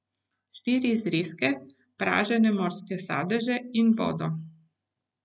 Štiri zrezke, pražene morske sadeže in vodo.